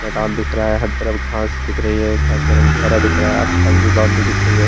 मैदान दिख रहा है हर तरफ घास दिख रही है घास का रंग भी हरा दिख रहा है आस-पास भी बाउंड्री दिख रही है।